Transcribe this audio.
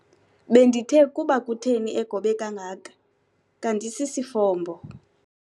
Bendithe kuba kutheni egobe kangaka kanti sisifombo.